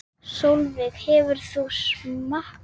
Sólveig: Hefur þú smakkað?